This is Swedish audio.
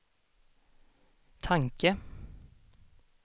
tanke